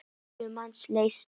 Níu manns létust.